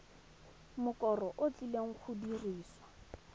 mokoro o tlileng go dirisiwa